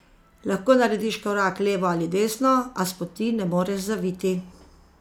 Lahko narediš korak levo ali desno, a s poti ne moreš zaviti.